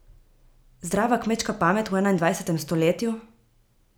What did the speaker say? Zdrava kmečka pamet v enaindvajsetem stoletju?